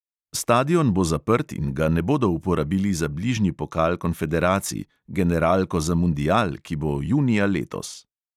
Stadion bo zaprt in ga ne bodo uporabili za bližnji pokal konfederacij, generalko za mundial, ki bo junija letos.